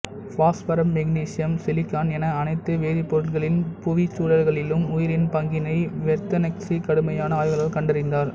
பாஸ்பரம்மாக்னீசியம் silicon என அனைத்து வேதிப்பொருட்களின் புவிச்சுழல்களிலும் உயிரின் பங்கினை வெர்னத்ஸ்கி கடுமையான ஆய்வுகளால் கண்டறிந்தார்